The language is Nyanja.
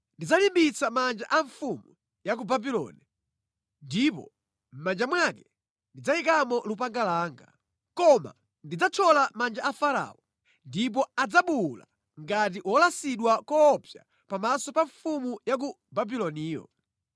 Ndidzalimbitsa manja a mfumu ya ku Babuloni, ndipo mʼmanja mwake ndidzayikamo lupanga langa. Koma ndidzathyola manja a Farao, ndipo adzabuwula ngati wolasidwa koopsa pamaso pa mfumu ya ku Babuloniyo.